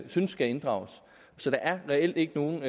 synes skal inddrages så der er reelt ikke nogen